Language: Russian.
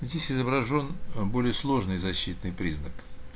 здесь изображён более сложный защитный признак